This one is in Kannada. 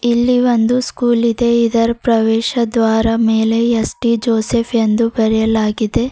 ಇಲ್ಲಿ ಒಂದು ಸ್ಕೂಲ್ ಇದೆ ಇದರ ಪ್ರವೇಶದ್ವಾರ ಮೇಲೆ ಎಸ್_ಟಿ ಜೋಶೆಪ್ ಎಂದು ಬರೆಯಲಾಗಿದೆ.